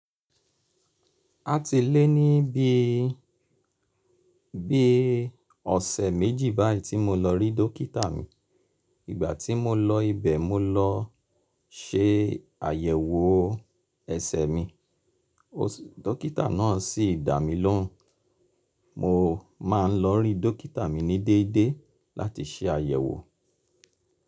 A ti lé ní bí i, bí i ọ̀sẹ̀ méjì báyìí tí mo lọ rí dókítà mi. Ìgbà tí mo lọ ibẹ̀, mo lọ se àyẹ̀wò ẹsẹ̀ mi. Dókítà náà sì dá mi lóhùn. Mo máa ń lọ rí dókítà mi ní déédé láti se àyẹ̀wò.